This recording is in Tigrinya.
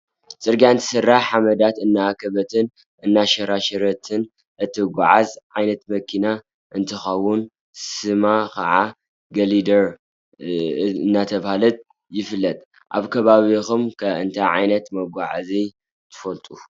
ፅርግያ እንትስራሕ ሓመዳት እናኣከበትን እናሸርሸረትን እትጉዓዝ ዓይነት መጓዓዝያ እንትኸዉን ስማ ክዓ ግሊደር እናተባሃለ ይፍለጥ። ኣብ ከባቢኩም ከ እንታይ ዓይነት መጓዓዝያ ትፈልጡ?